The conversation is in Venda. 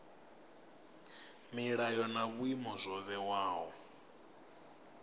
milayo na vhuimo zwo vhewaho